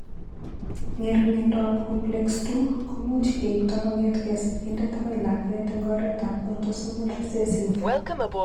Ng'ering'indoab Complex II ko much keipto kong'etke sigindet akoi lakwet eng' oretab autosomal recessive.